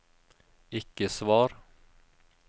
ikke svar